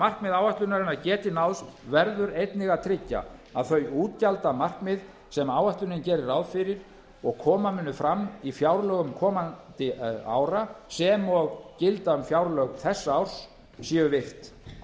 markmið áætlunarinnar geti náðst verður einnig að tryggja að þau útgjaldamarkmið sem áætlunin gerir ráð fyrir og koma munu fram í fjárlögum komandi ára sem og gilda um fjárlög þessa árs séu virt